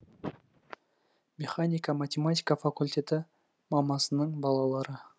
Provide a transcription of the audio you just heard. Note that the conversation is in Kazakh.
механика математика факультеті мамасының балалары